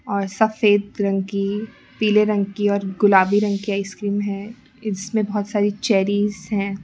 और सफेद रंग की पीले रंग की और गुलाबी रंग की आइसक्रीम हैं इसमें बहोत सारी चेरी हैं।